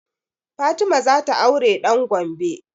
Fatima za ta aure ɗan Gombe